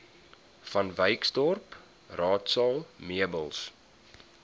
vanwyksdorp raadsaal meubels